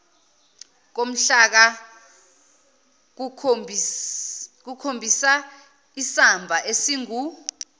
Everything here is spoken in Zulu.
komhlaka kukhombisaisamba esingu